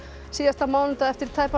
síðasta mánudag eftir tæpan